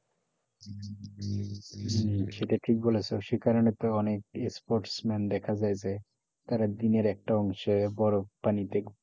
সেটা ঠিক বলেছো সে কারণে তো অনেক Sports men দেখা যায় যে তারা দিনের একটা অংশে বরফ পানিতে,